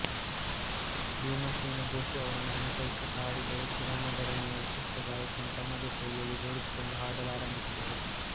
ಭೀಮಸೇನ ಜೋಶಿ ಅವರನ್ನು ಅನುಸರಿಸಿ ಹಾಡಿದರೂ ಕಿರಾಣಾ ಘರಾಣೆಯ ವಿಶಿಷ್ಟ ಗಾಯಕಿಯನ್ನು ತಮ್ಮದೇ ಶೈಲಿಯಲ್ಲಿ ರೂಢಿಸಿಕೊಂಡು ಹಾಡಲಾರಂಭಿಸಿದರು